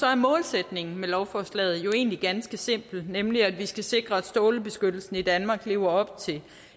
er målsætningen med lovforslaget jo egentlig ganske simpel nemlig at vi skal sikre at strålebeskyttelsen i danmark lever op til